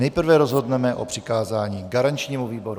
Nejprve rozhodneme o přikázání garančnímu výboru.